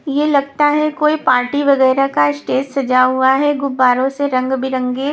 ये लगता है कोई पार्टी वगेरा का स्टेज सजा हुआ है गुब्बारों से रंग बिरंगे--